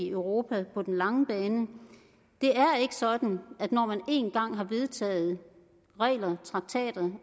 europa på den lange bane det er ikke sådan at når man en gang har vedtaget regler traktater